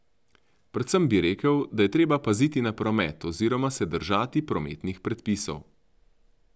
Predvsem bi rekel, da je treba paziti na promet oziroma se držati prometnih predpisov.